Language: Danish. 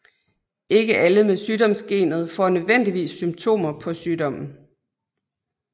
Ikke alle med sygdomsgenet får nødvendigvis symptomer på sygdommen